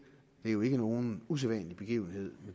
er jo ikke nogen usædvanlig begivenhed